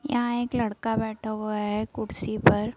यहां एक लड़का बैठा हुआ हैं कुर्सी पर ।